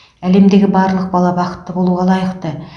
әлемдегі барлық бала бақытты болуға лайықты